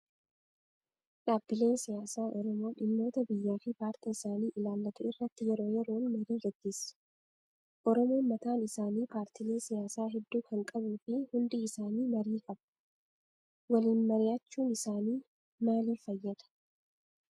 Dhaabbileen siyaasaa oromoo dhimmoota biyyaa fi paartii isaanii ilaallatu irratti yeroo yeroon marii gaggeessu. Oromoon mataan isaapaartiilee siyaasaa hedduu kan qabuu fi hundi isaanii marii qabu. Waliinmari'achuun isaanii maalii fayyadaa?